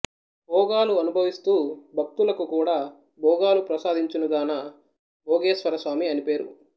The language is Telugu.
భోగాలు అనుభవిస్తూ భక్తులకు కూడా భోగాలు ప్రసాదించునుగాన భొగేశ్వరస్వామి అని పేరు